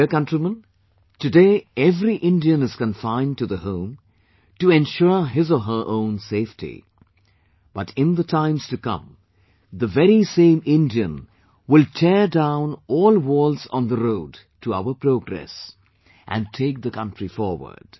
My dear countrymen, today every Indian is confined to the home, to ensure his or her own safety, but in the times to come, the very same Indian will tear down all walls on the road to our progress and take the country forward